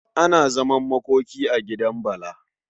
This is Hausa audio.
Ana zaman makoki a gidan Bala.